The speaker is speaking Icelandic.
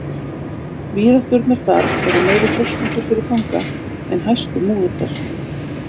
Víðátturnar þar eru meiri þröskuldur fyrir fanga en hæstu múrar.